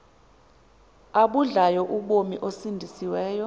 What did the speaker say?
abudlayo ubomi osindisiweyo